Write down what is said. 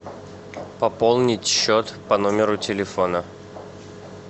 пополнить счет по номеру телефона